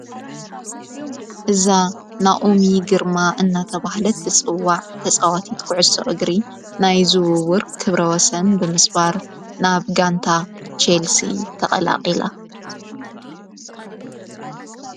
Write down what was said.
እዛ ናኦሚ ግርማ እናተብህለት ትጽዋዕ ተጸዋቲት ኲዕሶ እግሪ ናይ ዝውውር ክብረወሰን ብምስባር ናብ ጋንታ ቸልሲ ተቐላቂላ።